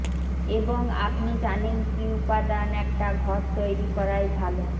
এবং আপনি জানেন কি উপাদান একটা ঘর তৈরী করাই ভালো